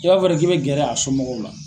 I b'a fɔ de k'i bɛ gɛrɛ a somɔgɔw la.